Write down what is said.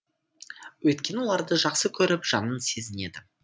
өйткені оларды жақсы көріп жанын сезінеді